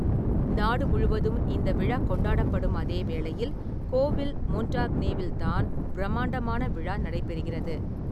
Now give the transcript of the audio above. நாடு முழுவதும் இந்த விழா கொண்டாடப்படும் அதே வேளையில், கோவில் மொன்டாக்னேவில் தான் பிரமாண்டமான விழா நடைபெறுகிறது.